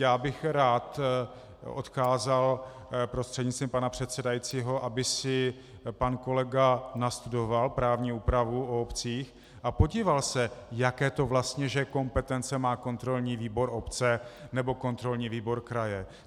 Já bych rád odkázal prostřednictvím pana předsedajícího, aby si pan kolega nastudoval právní úpravu o obcích a podíval se, jaké to vlastně že kompetence má kontrolní výbor obce nebo kontrolní výbor kraje.